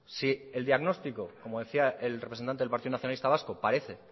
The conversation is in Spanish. si el diagnóstico como decía el representante del partido nacionalista vasco parece